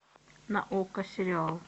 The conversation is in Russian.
на окко сериал